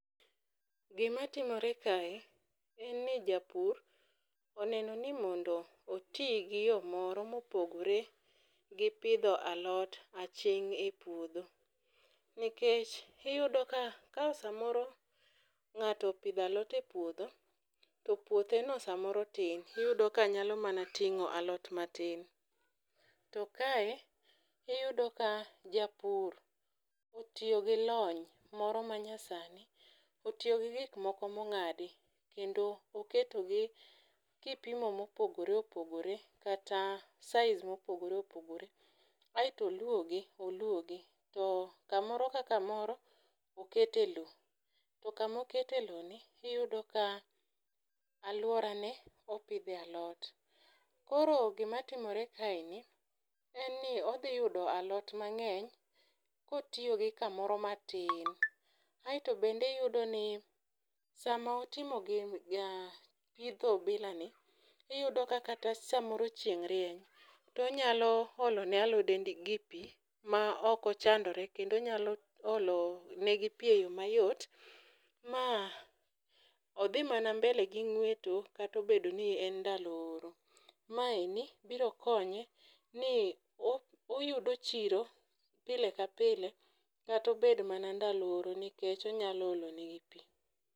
Gima timore kae en ni japur oneno ni mondo oti gi yoo moro mopogore gi pidho alot aching' e puodho. Nikech iyudo ka samoro ng'ato opidho alot e puodho to puothe no samoro tin iyudo ka nyalo mama ting'o alot matin. To kae iyudo ka japur tiyo gi lony moro manya sani . Otiyo gi gik moko mong'adi kendo oketo gi kipimo mopogore opogore kata size mopogore opogore aeto oluogi oluogi to kamoro ka kamoro okete lowo . To kamo kete lowo ni iyudo ka aluora ne opidhe alot. Koro gima timore kaeni en ni odhi yudo alot mang'eny kotiyo gi kamoro matin aeto bende iyudo ni samo timo gini ja pitho bila ni iyudo ka kata samoro chieng' rieny tonyalo olo ne alode ndi gi gi pii ma ok ochandore kendo onyalo olo negi pii e yo mayot ma odhi mana mbele gi ng'weto kato bedo ni en ndalo oro. Ma eni biro konye ni oyudo chiro pile ka pile katobed mana ndalo oro nikech onyalo olo ne gi pii.